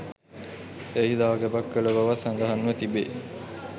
එහි දැගැබක් කළ බවත් සඳහන්ව තිබෙයි.